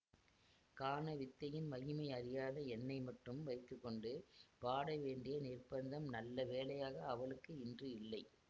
கானவித்தையின் மகிமை அறியாத என்னை மட்டும் வைத்து கொண்டு பாட வேண்டிய நிர்பந்தம் நல்ல வேளையாக அவளுக்கு இன்று இல்லை